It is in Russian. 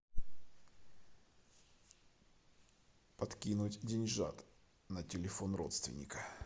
подкинуть деньжат на телефон родственника